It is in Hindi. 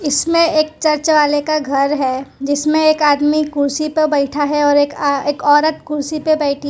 इसमें एक चर्च वाले का घर है जिसमें एक आदमी कुर्सी पर बैठा है और एक अह एक औरत कुर्सी पे बैठी है।